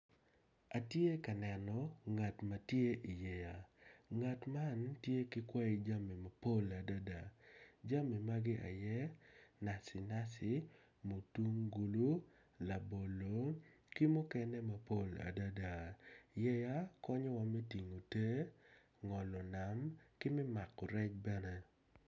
Atye ka neno ngat ma tye i yeya ngat man tye ki tye ka dano aryo ma gitye ka wot i yo bene gumako jami moni i cingi nen calo gityo kwede me kwan i pii onyo me wot i wi pii.